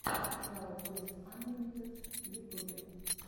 сериал тойс анлимитед в ютубе